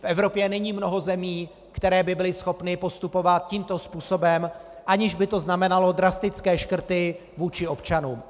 V Evropě není mnoho zemí, které by byly schopny postupovat tímto způsobem, aniž by to znamenalo drastické škrty vůči občanům.